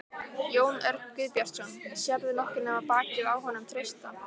Jón Örn Guðbjartsson: Sérðu nokkuð nema bakið á honum Trausta?